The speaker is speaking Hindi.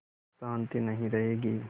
शान्ति नहीं रहेगी